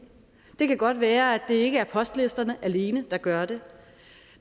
det kan godt være at det ikke er postlisterne alene der gør det